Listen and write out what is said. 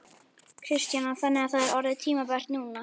Kristjana: Þannig að það er orðið tímabært núna?